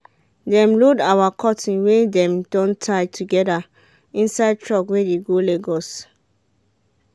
dem load our cotton wey dem don tie together inside truck wey de go lagos